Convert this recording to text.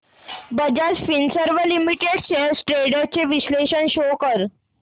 Bajaj Finserv limited shares trends चे विश्लेषण show कर